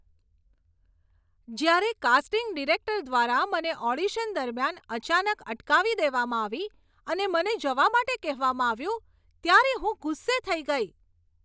જ્યારે casting director દ્વારા મને ઓડિશન દરમિયાન અચાનક અટકાવી દેવામાં આવી અને મને જવા માટે કહેવામાં આવ્યું ત્યારે હું ગુસ્સે થઈ ગઈ.